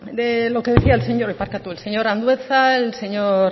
lo que decía el señor andueza el señor